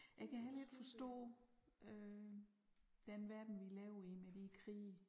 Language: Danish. Jeg kan heller ikke forstå øh den verden vi lever i med de krige